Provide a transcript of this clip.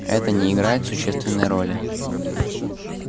это не играет существенной роли